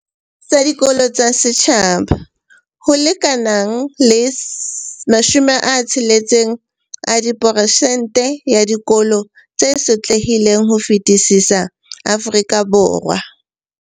Tsa dikolo tsa setjhaba, ho lekanang le 60 a diperesente ya dikolo tse sotlehileng ho fetisisa Afrika Borwa.